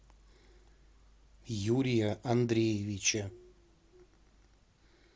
юрия андреевича